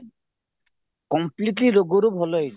completely ରୋଗରୁ ଭଲ ହେଇଯିବ